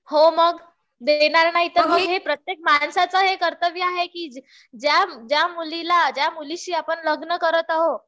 हो मग. देणार नाही कसे? प्रत्येक माणसाचं कर्तव्य आहे ज्या मुलीशी आपण लग्न करत आहोत,